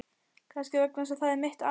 Kannski vegna þess að það er mitt ár.